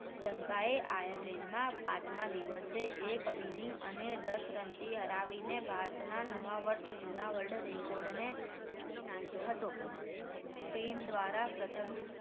શ્રીલંકા એ આયર્લેન્ડમાં પાંચમાં દિવસે એક inning અને દસ રનથી હરાવીને ભારતના નવા વર્ષ જુના world record ની તોડી નાખ્યો હતો કોઈ team દ્વારા પ્રથમ